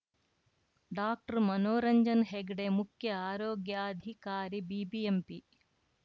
ಡಾಕ್ಟರ್ಮನೋರಂಜನ್‌ ಹೆಗಡೆ ಮುಖ್ಯ ಆರೋಗ್ಯಾಧಿಕಾರಿ ಬಿಬಿಎಂಪಿ